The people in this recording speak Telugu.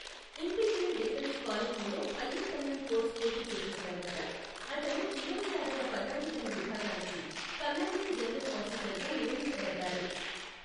ఇంపీరియల్ డిఫెన్స్ కాలేజీలో హయ్యర్ కమాండ్ కోర్సు పూర్తి చేసిన తర్వాత, అతను ఇరవై ఆరవ పదాతిదళ విభాగానికి కమాండింగ్ జనరల్ ఆఫీసర్గా నియమించబడ్డాడు.